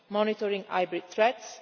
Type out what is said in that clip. monitoring hybrid threats